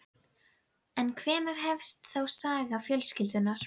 En hvenær hefst þá saga fjölskyldunnar?